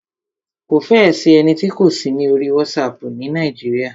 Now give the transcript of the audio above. Kò fẹ́ ẹ sí ẹni tí kò sí ní orí WhatsApp ni Nàíjíríà.